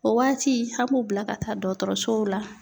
O waati an b'u bila ka taa dɔgɔtɔrɔsow la.